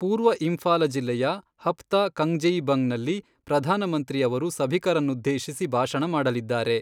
ಪೂರ್ವ ಇಂಫಾಲ ಜಿಲ್ಲೆಯ ಹಪ್ತ ಕಂಗ್ಜೆಯಿಬಂಗ್ ನಲ್ಲಿ ಪ್ರಧಾನಮಂತ್ರಿ ಅವರು ಸಭಿಕರನನ್ನುದ್ಧೇಶಿಸಿ ಭಾಷಣ ಮಾಡಲಿದ್ದಾರೆ.